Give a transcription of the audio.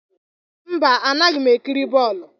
Mba, anaghị m ekiri bọọlụ.